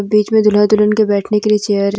बीच में दुल्हा दुल्हन के बैठने के लिए चेयर --